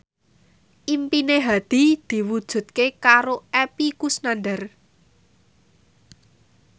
impine Hadi diwujudke karo Epy Kusnandar